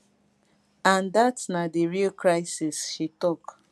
and dat na di real crisis she tok